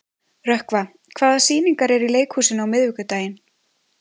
Rökkva, hvaða sýningar eru í leikhúsinu á miðvikudaginn?